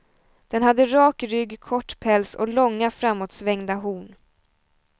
Den hade rak rygg, kort päls och långa framåtsvängda horn.